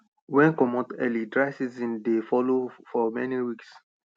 wen comot early dry seasons dey follow for many weeks